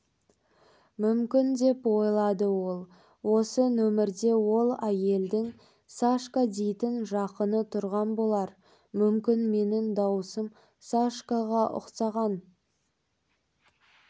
мүмкін деп ойлады ол осы нөмерде ол әйелдің сашка дейтін жақыны тұрған болар мүмкін менің дауысым сашкаға ұқсаған